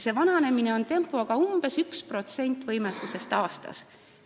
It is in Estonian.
Vananemise tempo on selline, et umbes 1% kehaline võimekus aastas väheneb.